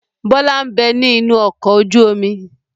Bọlá ń bẹ ní inú ọkọ̀ ojú omi.